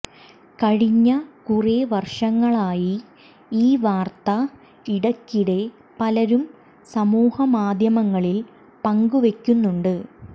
കഴിഞ്ഞ കുറെ വർഷങ്ങളായി ഈ വാർത്ത ഇടക്കിടെ പലരും സമൂഹ മാധ്യമങ്ങളിൽ പങ്കുവെക്കുന്നുണ്ട്